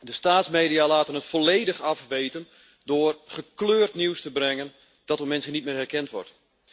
De staatsmedia laten het volledig afweten door gekleurd nieuws te brengen dat door mensen niet meer herkend wordt.